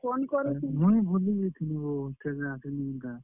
ମୁଇଁ ଭୁଲି ଯାଇଥିଲି ବୋ ।